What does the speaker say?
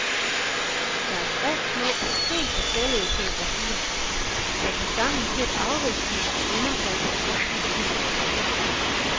Det er tre små, helt forskellige koreografier, der tilsammen giver en afvekslende og underholdende aften i teatret.